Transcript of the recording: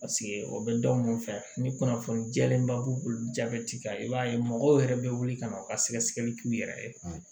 o bɛ dɔn mun fɛ ni kunnafoni diyalen ba b'u bolo jabɛti kan i b'a ye mɔgɔw yɛrɛ bɛ wuli ka na u ka sɛgɛsɛgɛli k'u yɛrɛ ye